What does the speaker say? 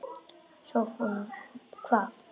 SOPHUS: Hvað?